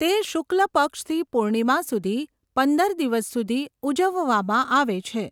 તે શુક્લ પક્ષથી પૂર્ણિમા સુધી પંદર દિવસ સુધી ઉજવવામાં આવે છે.